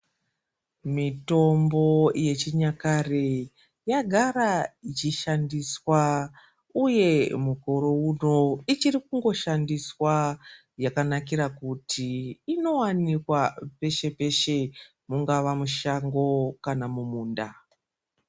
Mitombo yechinyakare yagara ichishandiswa uye mukore uno ichiri kungoshandiswa yakanakira kuti inowanikwa peshe peshe mungava mushango kana mumunda.